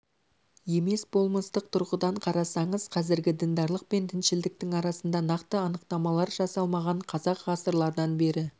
емес болмыстық тұрғыдан қарасаңыз қазіргі діндарлық пен діншілдіктің арасында нақты анықтамалар жасалмаған қазақ ғасырлардан бері